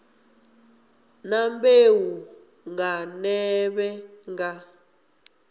na mbeu nga nḓevhe nga